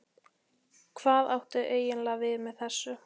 Hvað áttu eiginlega við með þessu?